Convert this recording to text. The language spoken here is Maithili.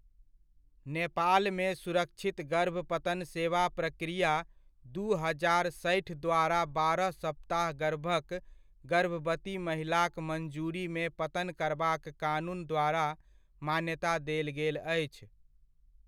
नेपालमे सुरक्षित गर्भपतन सेवा प्रक्रिया दू हजार सठि द्वारा बारह सप्ताह गर्भक गर्भवती महिलाक मञ्जुरीमे पतन करबाक कानून द्वारा मान्यता देल गेल अछि।